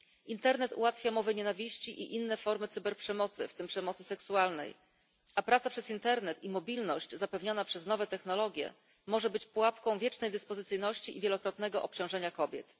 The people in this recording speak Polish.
Internet ułatwia mowę nienawiści i inne formy cyberprzemocy, w tym przemocy seksualnej, a praca przez internet i mobilność zapewniona przez nowe technologie może być pułapką wiecznej dyspozycyjności i zwielokrotnionego obciążenia kobiet.